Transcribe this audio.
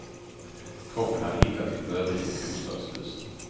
Kroppen hade hittats i ett övergivet bostadshus.